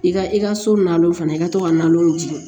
I ka i ka so na fana i ka to ka nalow di